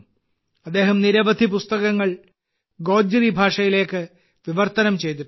അദ്ദേഹം നിരവധി പുസ്തകങ്ങൾ ഗോജ്രി ഭാഷയിലേക്ക് വിവർത്തനം ചെയ്തിട്ടുണ്ട്